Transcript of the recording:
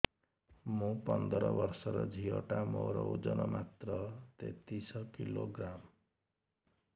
ମୁ ପନ୍ଦର ବର୍ଷ ର ଝିଅ ଟା ମୋର ଓଜନ ମାତ୍ର ତେତିଶ କିଲୋଗ୍ରାମ